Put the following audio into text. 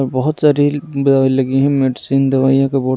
और बहुत सारी लगी है मेडिसिन दवाईयों का बोर्ड ----